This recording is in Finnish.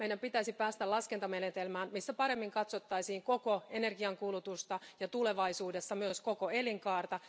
Meidän pitäisi päästä laskentamenetelmään, jossa paremmin katsottaisiin koko energiankulutusta ja tulevaisuudessa myös koko elinkaarta.